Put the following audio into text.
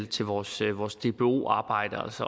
til vores til vores dbo arbejde og